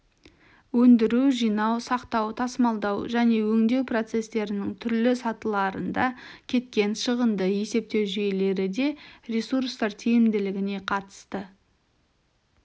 өндіру жинау сақтау тасымалдау және өңдеу процестерінің түрлі сатыларында кеткен шығынды есептеу жүйелері де ресурстар тиімділігіне қатысты